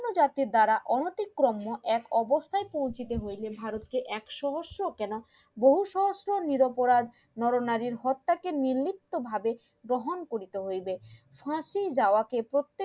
জাতির দ্বারা অনুতিকরণীয় এক অবস্থায় পৌঁছতে হইলে ভারতকে এক সহস্র কেনা বহু সহস্র নিরপরাধ নর নারীর হত্যা কে নির্লিপ্তভাবে গ্রহণ করিতে হইবে ফাঁসির যাওয়া কে